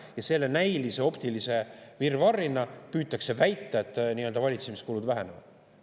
Ja sellise näilise optilise virvarrina püütakse väita, et valitsemiskulud vähenevad.